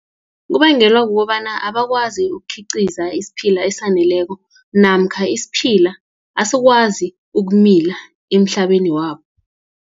Kubangelwa kukobana abakwazi ukukhiqiza isiphila esaneleko, namkha isiphila asikwazi ukumila, emhlabeni wabo.